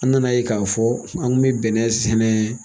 An nana yen k'a fɔ an kun mi bɛnnɛ sɛnɛ